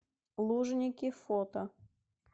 лужники фото